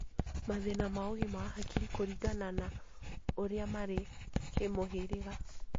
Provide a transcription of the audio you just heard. Mathĩna ma ũgima wa hakiri kũringana na ũrĩa marĩ kĩmũhĩrĩga.